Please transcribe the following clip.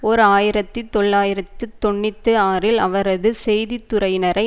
ஓர் ஆயிரத்தி தொள்ளாயிரத்து தொன்னூற்றி ஆறில் அவரது செய்தித்துறையினரை